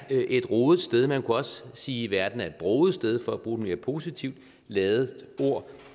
et rodet sted man kunne også sige at verden er et broget sted for at bruge et mere positivt ladet ord